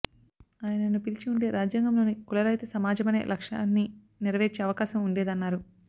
ఆయనను పిలిచి ఉంటే రాజ్యాంగంలోని కుల రహిత సమాజమనే లక్ష్యాన్ని నెరవేర్చే అవకాశం ఉండేదన్నారు